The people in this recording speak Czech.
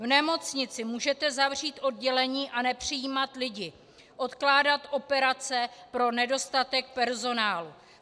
V nemocnici můžete zavřít oddělení a nepřijímat lidi, odkládat operace pro nedostatek personálu.